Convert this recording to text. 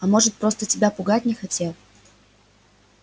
а может просто тебя пугать не хотел